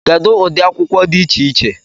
Kedu ụdị akwụkwọ dị iche iche